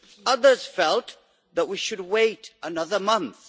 Others felt that we should wait another month.